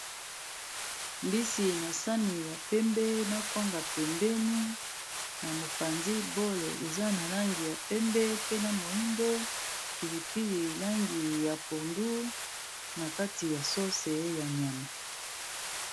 mbisi na sani ya pembe na kwanga pembeni na mopanzi bolle eza na langi ya pembe pena moindo pilipili langi ya pondu na kati ya sauce ya nyama